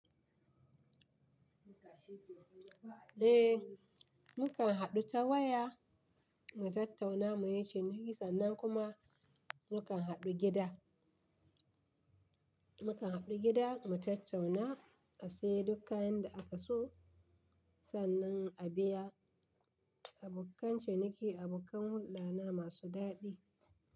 Eh, mu kan haɗu ta waya mu tattauna mu yi ciniki sannan kuma mu kan haɗu gida, mu kan haɗu gida mu tattauna mu sayar dukkan yanda aka so, sannan a biya abokan ciniki abokan hulɗana masu daɗi.